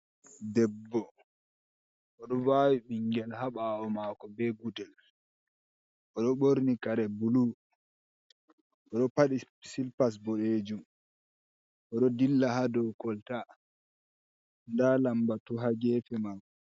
Debbo odo vawi mingel ha bawo mako be guɗɗel. Oɗo borni kare bulu. Oɗo padi silipas bodeejum. Oɗo dilla ha ɗow kol ta. Nɗa lambatu ha gefe mai.